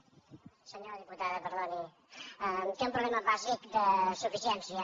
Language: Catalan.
senyora diputada perdoni té un problema bàsic de suficiència